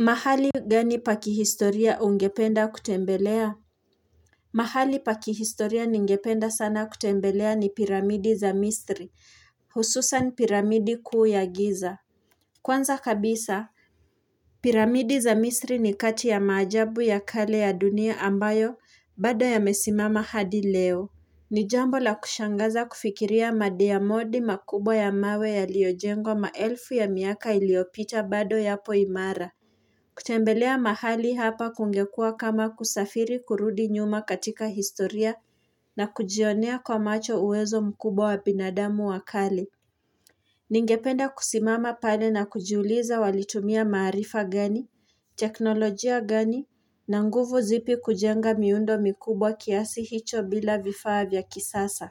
Mahali gani pa kihistoria ungependa kutembelea? Mahali pa kihistoria ningependa sana kutembelea ni piramidi za misri, hususan piramidi kuu ya giza. Kwanza kabisa, piramidi za misri ni kati ya maajabu ya kale ya dunia ambayo bado yamesimama hadi leo. Ni jambo la kushangaza kufikiria madiamodi makubwa ya mawe yaliyojengo maelfu ya miaka iliopita bado yapo imara. Kutembelea mahali hapa kungekua kama kusafiri kurudi nyuma katika historia na kujionea kwa macho uwezo mkubwa wa binadamu wa kale. Ningependa kusimama pale na kujiuliza walitumia maarifa gani, teknolojia gani, na nguvu zipi kujenga miundo mikubwa kiasi hicho bila vifaa vya kisasa.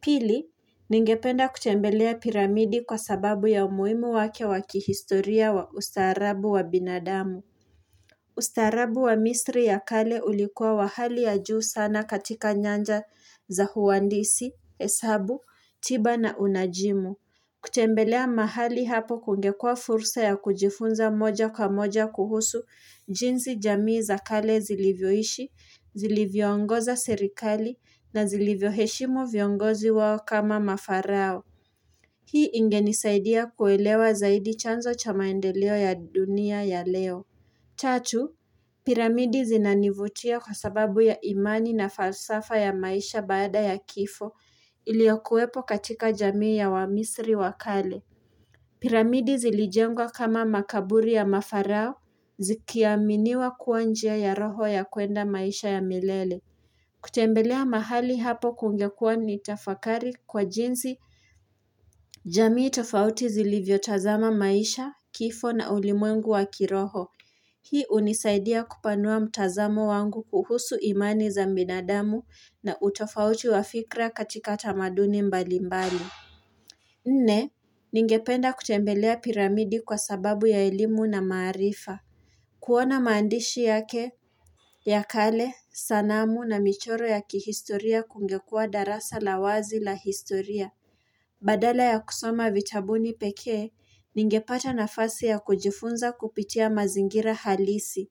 Pili, ningependa kutembelea piramidi kwa sababu ya umuhimu wake wa kihistoria wa ustaarabu wa binadamu. Ustarabu wa misri ya kale ulikuwa wa hali ya juu sana katika nyanja za huandisi, heshabu, tiba na unajimu kutembelea mahali hapo kungekua fursa ya kujifunza moja kwa moja kuhusu jinsi jamii za kale zilivyoishi, zilivyoongoza serikali na zilivyoheshimu viongozi wao kama mafarao Hii ingenisaidia kuelewa zaidi chanzo cha maendeleo ya dunia ya leo Tatu, Piramidi zinanivutia kwa sababu ya imani na falsafa ya maisha baada ya kifo iliokuwepo katika jamii ya wamisri wa kale. Piramidi zilijengwa kama makaburi ya mafarao zikiaminiwa kuwa njia ya roho ya kuenda maisha ya milele. Kutembelea mahali hapo kungekua ni tafakari kwa jinsi. Jamii tofauti zilivyo tazama maisha, kifo na ulimwengu wa kiroho. Hii hunisaidia kupanua mtazamo wangu kuhusu imani za binadamu na utofauti wa fikra katika tamaduni mbali mbali. Nne, ningependa kutembelea piramidi kwa sababu ya elimu na maarifa. Kuona maandishi yake, ya kale, sanamu na michoro ya kihistoria kungekua darasa la wazi la historia. Badala ya kusoma vitabuni pekee, ningepata nafasi ya kujifunza kupitia mazingira halisi.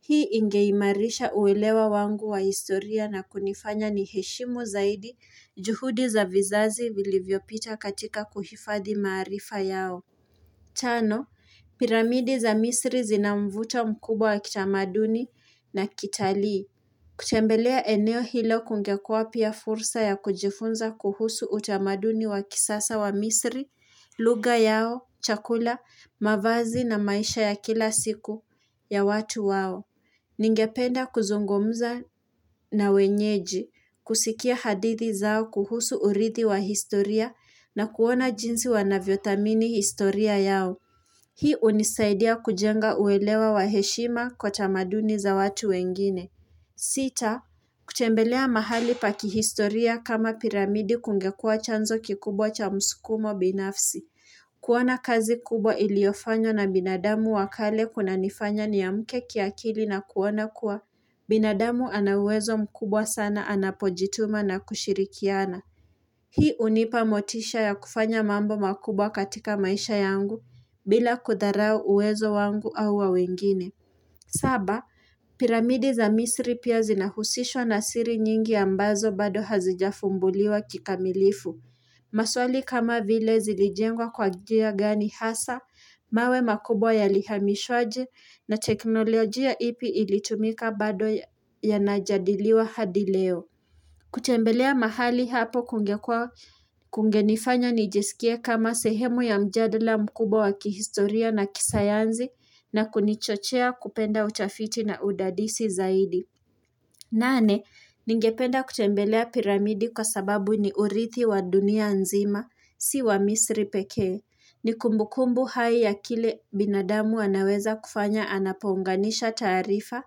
Hii ingeimarisha uelewa wangu wa historia na kunifanya niheshimu zaidi juhudi za vizazi vilivyopita katika kuhifadhi maarifa yao. Tano, piramidi za misri zinamvuto mkubwa wa kitamaduni na kitalii. Kutembelea eneo hilo kungekua pia fursa ya kujifunza kuhusu utamaduni wa kisasa wa misri, lugha yao, chakula, mavazi na maisha ya kila siku ya watu wao. Ningependa kuzungumza na wenyeji, kusikia hadithi zao kuhusu urithi wa historia na kuona jinsi wanavyothamini historia yao. Hii hunisaidia kujenga uelewa wa heshima kwa tamaduni za watu wengine. Sita, kutembelea mahali pa kihistoria kama piramidi kungekua chanzo kikubwa cha msukumo binafsi. Kuona kazi kubwa iliofanywa na binadamu wa kale kunanifanya niamke kiakili na kuona kuwa, binadamu ana uwezo mkubwa sana anapojituma na kushirikiana. Hii hunipa motisha ya kufanya mambo makubwa katika maisha yangu bila kudharau uwezo wangu au wa wengine. Saba, piramidi za misri pia zinahusishwa na siri nyingi ambazo bado hazijafumbuliwa kikamilifu. Maswali kama vile zilijengwa kwa njia gani hasa, mawe makubwa yalihamishwa aje na teknolojia ipi ilitumika bado yanajadiliwa hadi leo. Kutembelea mahali hapo kungenifanya nijisikie kama sehemu ya mjadala mkubwa wa kihistoria na kisayansi na kunichochea kupenda utafiti na udadisi zaidi. Nane, ningependa kutembelea piramidi kwa sababu ni urithi wa dunia nzima, si wa misri pekee. Ni kumbukumbu hai ya kile binadamu anaweza kufanya anapounganisha taarifa,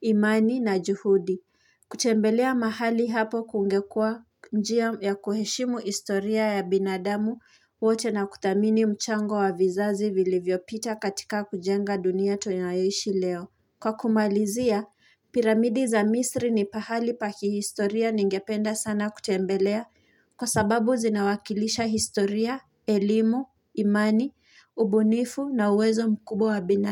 imani na juhudi. Kutembelea mahali hapo kungekua njia ya kuheshimu historia ya binadamu wote na kuthamini mchango wa vizazi vilivyopita katika kujenga dunia tunayoishi leo. Kwa kumalizia, piramidi za misri ni pahali pa kijistoria ningependa sana kutembelea kwa sababu zinawakilisha historia, elimu, imani, ubunifu na uwezo mkubwa wa bina.